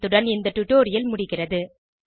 இத்துடன் இந்த டுடொரியல் முடிகிறது